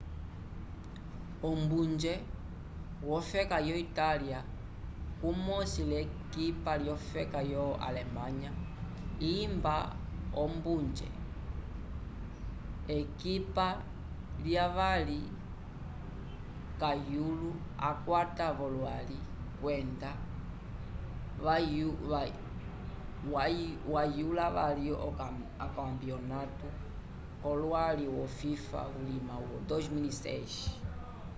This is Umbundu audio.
ombunje wofeka yo itália kumosi l'ekipa yofeka yo alemanya imba ombunje ekipa lyavali kayulo akwata v'olwali kwenda wayula vali okampenatu yolwali wo fifa vulima wa 2006